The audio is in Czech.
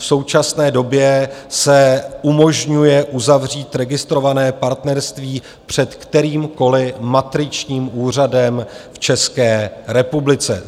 V současné době se umožňuje uzavřít registrované partnerství před kterýmkoli matričním úřadem v České republice.